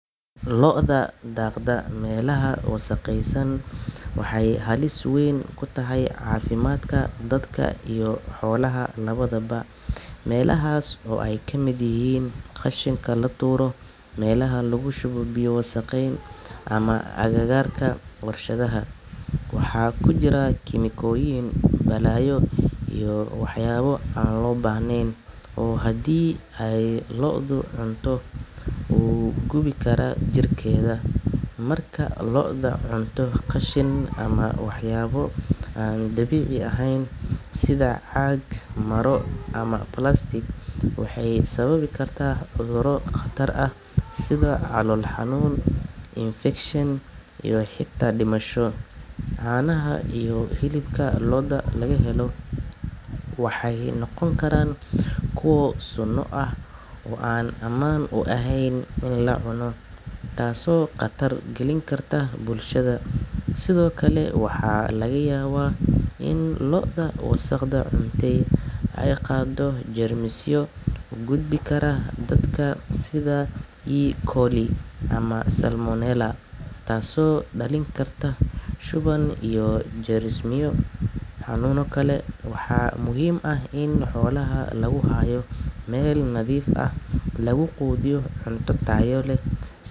Lo’da daaqda meelaha wasakhaysan waxay halis weyn ku tahay caafimaadka dadka iyo xoolaha labadaba. Meelahaas oo ay ka mid yihiin qashinka la tuuro, meelaha lagu shubo biyo wasakhaysan, ama agagaarka warshadaha, waxaa ku jira kiimikooyin, balaayo iyo waxyaabo aan loo baahnayn oo haddii ay lo’da cunto u gudbi kara jirkeeda. Marka lo’da cunto qashin ama waxyaabo aan dabiici ahayn sida caag, maro ama plastic, waxay sababi kartaa cudurro khatar ah sida calool xanuun, infekshan iyo xitaa dhimasho. Caanaha iyo hilibka lo’daas laga helo waxay noqon karaan kuwo sun ah oo aan ammaan u ahayn in la cuno, taasoo khatar gelin karta bulshada. Sidoo kale, waxaa laga yaabaa in lo’da wasakhda cunta ay qaaddo jeermisyo u gudbi kara dadka, sida E. coli ama salmonella, taasoo dhalin karta shuban iyo xanuuno kale. Waxaa muhiim ah in xoolaha lagu hayo meel nadiif ah, lagu quudiyo cunto tayo leh.